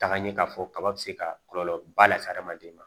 Taga ɲɛ k'a fɔ kaba bɛ se ka kɔlɔlɔba lase adamaden ma